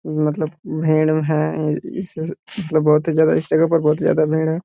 मतलब भीड़ है य इस इस मतलब बहुत ही ज्यादा इस जगह पर बहुत ही ज्यादा भीड़ है।